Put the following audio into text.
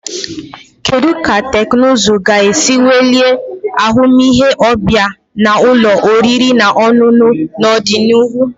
Kedu ka teknụzụ ga-esi welie ahụmịhe ọbịa na ụlọ oriri na ọṅụṅụ n'ọdịnihu?